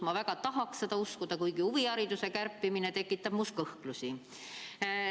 Ma väga tahan seda uskuda, kuigi huvihariduse summade kärpimine tekitab minus kõhklusi.